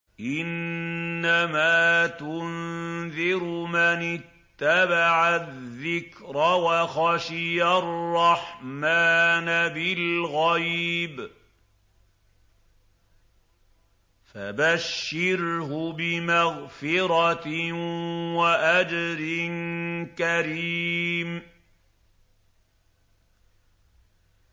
إِنَّمَا تُنذِرُ مَنِ اتَّبَعَ الذِّكْرَ وَخَشِيَ الرَّحْمَٰنَ بِالْغَيْبِ ۖ فَبَشِّرْهُ بِمَغْفِرَةٍ وَأَجْرٍ كَرِيمٍ